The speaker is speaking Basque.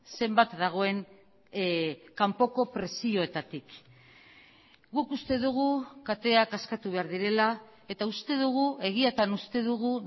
zenbat dagoen kanpoko presioetatik guk uste dugu kateak askatu behar direla eta uste dugu egiatan uste dugu